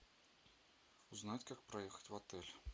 узнать как проехать в отель